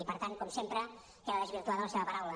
i per tant com sempre queda desvirtuada la seva paraula